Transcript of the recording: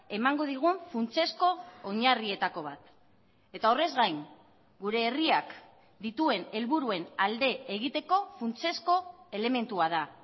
emango digun funtsezko oinarrietako bat eta horrez gain gure herriak dituen helburuen alde egiteko funtsezko elementua da